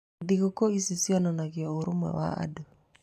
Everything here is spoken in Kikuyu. Thigũkũ ici cionanagia ũrũmwe wa andũ.